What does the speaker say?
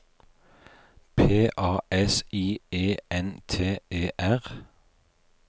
P A S I E N T E R